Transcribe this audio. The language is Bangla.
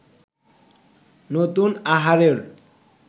নতুন আহারের